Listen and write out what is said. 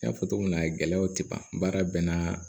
N y'a fɔ cogo min na gɛlɛyaw tɛ ban baara bɛɛ n'a